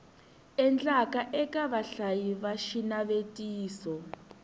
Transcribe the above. endlaka eka vahlayi va xinavetiso